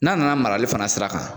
N'a nana marali fana sira kan